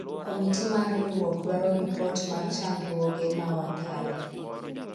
komiti mar riwruok dwaro ripot mar chandruoge ma wakale